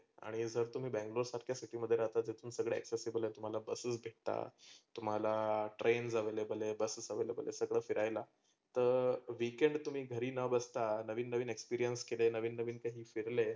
आणि जर तुम्ही बैगलोर सारख्या city मध्ये राहता तिथून सगळ accessible तुम्हाला bus भेटता. तुम्हाला trains available आहे buses available सगळ फिरायला. तर weekend तुम्ही घरी न बसता नवीन नवीन experience नवीन नवीन ते काही फहिर्ले